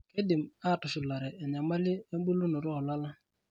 Keidim atushulare enyamali emulunoto oo lala.